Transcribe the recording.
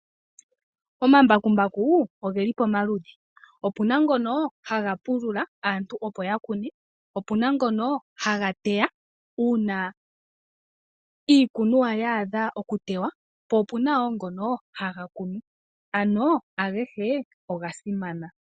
Omambakumbaku oge li pamaludhi. Opu na ngono haga pulula opo aantu ya kune. Opu na ngono haga teya uuna iikunuwa yaadha oku tetwa, po opu na ngono haga kunu. Ano, agehe oga simana.